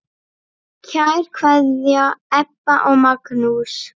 Kær kveðja, Ebba og Magnús.